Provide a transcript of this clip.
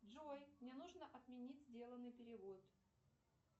джой мне нужно отменить сделанный перевод